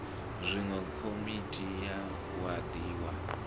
zwine komiti ya wadi ya